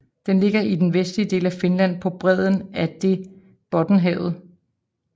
Den ligger i den vestlige del af Finland på bredden af det Bottenhavet